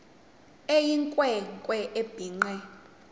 eyinkwe nkwe ebhinqe